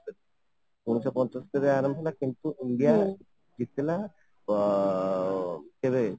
ଉଣେଇଶ ପଞ୍ଚସ୍ତରୀ ରେ ଆରମ୍ଭ ହେଲା କିନ୍ତୁ india ଜିତିଲା ଅଂ କେବେ ?